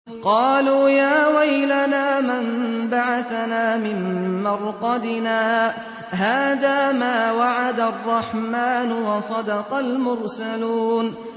قَالُوا يَا وَيْلَنَا مَن بَعَثَنَا مِن مَّرْقَدِنَا ۜۗ هَٰذَا مَا وَعَدَ الرَّحْمَٰنُ وَصَدَقَ الْمُرْسَلُونَ